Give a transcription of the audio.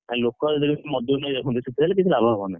ଆଉ ଲୋକ ଯଦି ମଜୁରି ଦେଇ ରଖୁଛନ୍ତି ତାହାଲେ କିଛି ଲାଭ ହବନି।